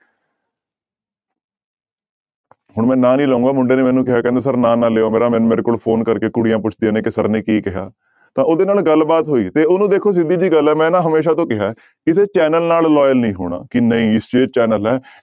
ਹੁਣ ਮੈਂ ਨਾਂ ਨੀ ਲਊਂਗਾ ਮੁੰਡੇ ਨੇ ਮੈਨੂੰ ਕਿਹਾ ਕਹਿੰਦਾ ਸਰ ਨਾਂ ਨਾ ਲਇਓ ਮੇਰਾ ਮੈਨੂੰ ਮੇਰੇ ਕੋਲ phone ਕਰਕੇ ਕੁੜੀਆਂ ਪੁਛਦੀਆਂ ਨੇ ਕਿ ਸਰ ਨੇ ਕੀ ਕਿਹਾ ਤਾਂ ਉਹਦੇ ਨਾਲ ਗੱਲਬਾਤ ਹੋਈ ਤੇ ਉਹਨੂੰ ਦੇਖੋ ਸਿੱਧੀ ਜਿਹੀ ਗੱਲ ਹੈ ਮੈਂ ਨਾ ਹਮੇਸ਼ਾ ਤੋਂ ਕਿਹਾ ਹੈ ਕਿਸੇ ਚੈਨਲ ਨਾਲ loyal ਨੀ ਹੋਣਾ ਕਿ ਨਹੀਂ ਇਹ ਚੈਨਲ ਹੈ